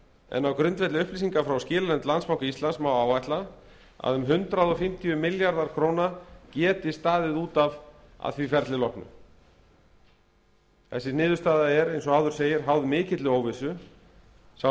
en á grundvelli upplýsinga frá skilanefnd landsbanka íslands má áætla að um hundrað fimmtíu milljarðar króna geti staðið út af að því ferli loknu þessi niðurstaða er eins og áður segir háð mikilli óvissu sá